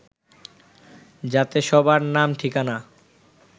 যাতে সবার নাম ঠিকানা